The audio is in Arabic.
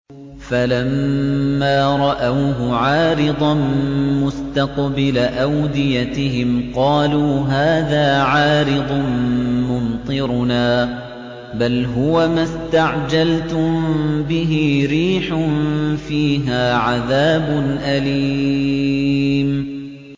فَلَمَّا رَأَوْهُ عَارِضًا مُّسْتَقْبِلَ أَوْدِيَتِهِمْ قَالُوا هَٰذَا عَارِضٌ مُّمْطِرُنَا ۚ بَلْ هُوَ مَا اسْتَعْجَلْتُم بِهِ ۖ رِيحٌ فِيهَا عَذَابٌ أَلِيمٌ